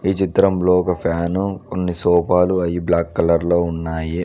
ఈ చిత్రంలో ఒక ఫ్యాను కొన్ని సోఫాలు అయి బ్లాక్ కలర్ లో ఉన్నాయి.